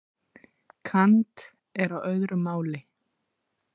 Kant er á öðru máli.